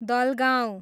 Dalgaun